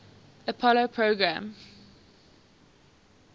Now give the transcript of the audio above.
apollo program